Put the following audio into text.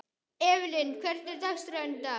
Evelyn, hvernig er dagskráin í dag?